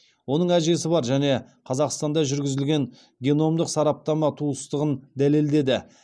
оның әжесі бар және қазақстанда жүргізілген геномдық сараптама туыстығын дәлелдеді